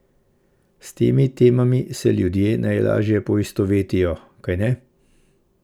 S temi temami se ljudje najlažje poistovetijo, kajne?